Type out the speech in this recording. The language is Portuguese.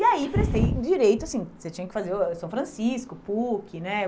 E aí prestei Direito, assim, você tinha que fazer ãh São Francisco, PUC, né?